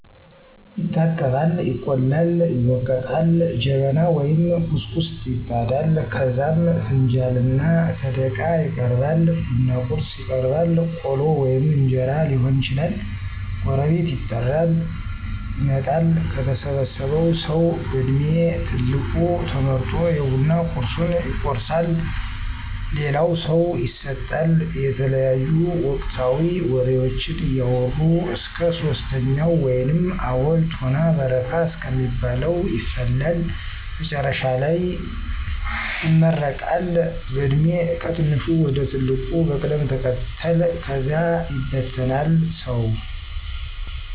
ይታጠባል፣ ይቆላል፣ ይወገጣል፣ ጀበና ወይም ኩስኩስት ይጣዳል ከዛም ፍንጃልና ሰደቃ ይቀራርባል፣ ቡና ቁርስ ይቀርባል ቆሎ ወይም እንጀራ ሊሆን ይችላል፤ ጎረቤት ይጠራል የመጣል፤ ከተሰበሰበው ሠዉ በድሜ ትልቁ ተመርጦ የቡና ቁርሡን ይቆርሣል ለሌላው ሠው ይሠጣል። የተለያዩ ወቅታዊ ወሬዎችን እያወራ እስከ ሶስተኛው ወይንም አቦል፣ ቶና በረካ እስከሚባለው ይፈላል። መጨረሻ ላይ ይመረቀል በዕድሜ ከትንሹ ወደ ትልቁ በቅደም ተከተል ከዛ ይበተናል ሰው።